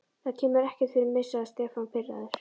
Það kemur ekkert fyrir mig sagði Stefán pirraður.